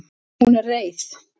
Hún er reið.